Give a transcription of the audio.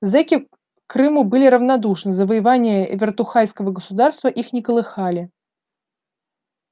зэки к крыму были равнодушны завоевания вертухайского государства их не колыхали